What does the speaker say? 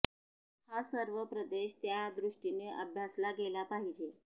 हा सर्व प्रदेश त्या दृष्टीनं अभ्यासला गेला पाहिजे